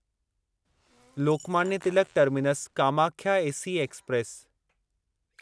Lokmanya Tilak terminus Kamakhya AC express